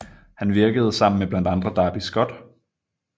Han virkede sammen med blandt andre Darby Scott